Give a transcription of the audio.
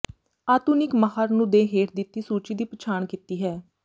ਆਧੁਨਿਕ ਮਾਹਰ ਨੂੰ ਦੇ ਹੇਠ ਦਿੱਤੀ ਸੂਚੀ ਦੀ ਪਛਾਣ ਕੀਤੀ ਹੈ